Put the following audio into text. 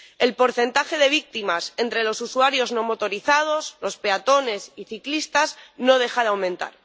el porcentaje de víctimas entre los usuarios no motorizados, los peatones y ciclistas, no deja de aumentar.